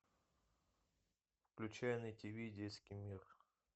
включай на тиви детский мир